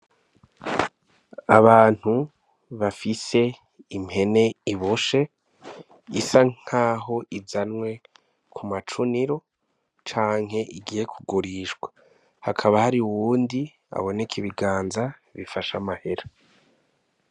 Abantu bafise impene iboshe isa nkaho izanywe kw'amacuniro canke igiye kugurishwa, hakaba hari uwundi abonek'ibiganza bifash'amahera .